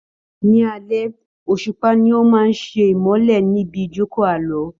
Ní alẹ́, òṣùpá ni ó máa ṣe ìmọ́lẹ̀ níbi ìjóòkó Àlọ́.